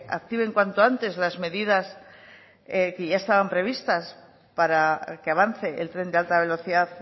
activen cuanto antes las medidas que ya estaban prevista para que avance el tren de alta velocidad